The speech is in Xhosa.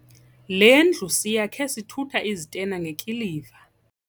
Le ndlu siyakhe sithutha izitena ngekiliva.